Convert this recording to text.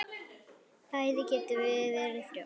Bæði getum við verið þrjósk.